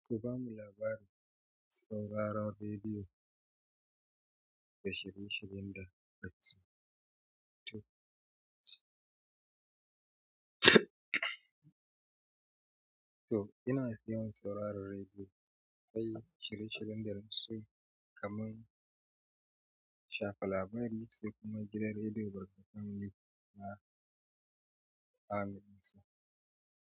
Ku ba mu labarin sauraron radiyo da shirye-shiryen da ina fiye sauraron rediyo, awkai shirye-shiryen da na fi so kamar shafa labari, sai kuma gidan rediyo barkatai family.